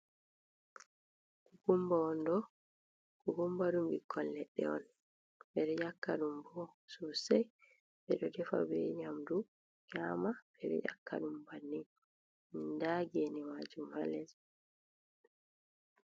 Kukummba wonɗoo, kukummba ɗum bikkol leɗɗe on, ɓe ɗo e ƴakka ɗum bo soosay. Ɓe ɗo defa bee nyaamdu nyaama. Ɓe ɗo ƴakka ɗum banni. Ndaa geene maajum ha les.